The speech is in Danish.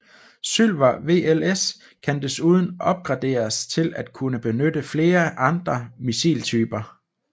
SYLVER VLS kan desuden opgraderes til at kunne benytte flere andre missiltyper